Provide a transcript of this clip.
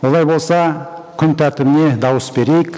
олай болса күн тәртібіне дауыс берейік